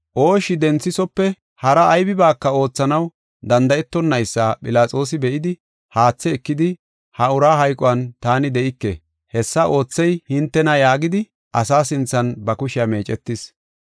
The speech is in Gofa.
Ooshshi denthethofe hara aybibaaka oothanaw danda7etonaysa Philaxoosi be7idi, haathe ekidi, “Ha uraa hayquwan taani de7ike. Hessa oothey hintena” yaagidi asaa sinthan ba kushiya meecetis.